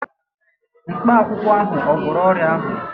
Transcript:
Mkpakwụkwọ ahụ ò gwọrọ ọrịa ahụ?